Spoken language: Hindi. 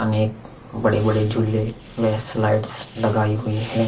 अनेक बड़े-बड़े झूले व स्लाइड्स लगाई हुई है ।